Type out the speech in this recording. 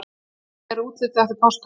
Hvernig er útlitið eftir páska?